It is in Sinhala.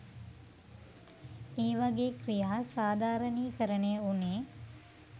ඒවගේ ක්‍රියා සාධාරණීකරණය උනේ